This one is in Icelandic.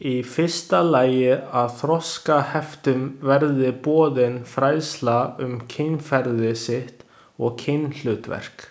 Í fyrsta lagi að þroskaheftum verði boðin fræðsla um kynferði sitt og kynhlutverk.